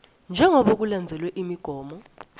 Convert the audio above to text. njengobe kulandzelwe imigomo